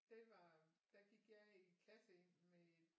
Det var der gik jeg i klasse med